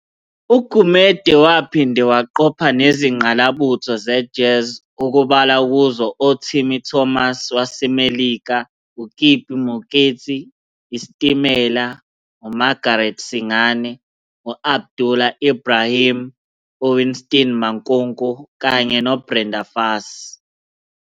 UGumede waphinde waqopha nezingqalabutho ze-jazz okubalwa kuzo oTimmy Thomas waseMelika, uKippie Moeketsi, IStimela, uMargaret Singane, uAbdullah Ibrahim, uWinston Mankunku kanye noBrenda Fassie.